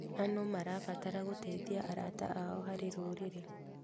Anũ marabatara gũteithia arata ao harĩ rũrĩrĩ.